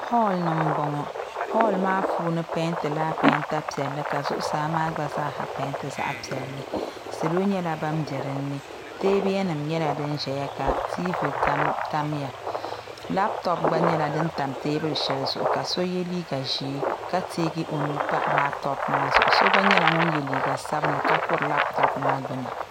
hɔli ni m-bɔŋɔ hɔli maa puuni peentila peenta piɛlli ka zuɣusaa maa gba zaasa peenti zaɣ' piɛlli salo nyɛla ban be di ni teebuya nyɛla din zaya ka tiivi tamya lapitɔpu gba nyɛla din tam teebuli ka so ye liiga ʒee ka teegi o nuu m-pa lapitɔpu maa zuɣu so gba nyɛla ŋun ye liiga sabilinli ka kuri lapitɔpu maa gbuni